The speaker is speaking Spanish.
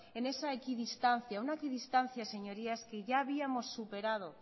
en esa equidistancia una equidistancia que ya habíamos superado